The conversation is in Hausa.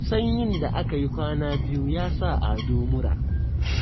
Sanyin da aka yi kwana biyu ya sa Ado mura